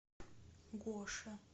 гоше